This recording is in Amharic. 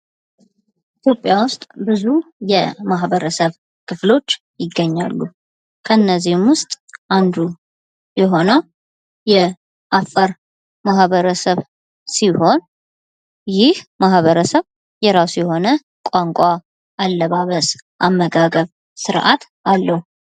ኢትዮጵያ ውስጥ ብዙ የማህበረስብ ክፍሎች ይገኛሉ። ከነዚህም ዉስጥ አንዱ የሆነው የአፋር ማህበረሰብ ሲሆን ይህ ማህበርስብ የራሱ የሆነ፣ አመጋገብ፣ ቋንቋ፣ አለባበስ ፣ ስራአት አለው።